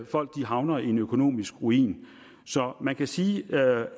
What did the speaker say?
folk havner i en økonomisk ruin så man kan sige at